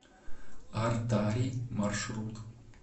артари маршрут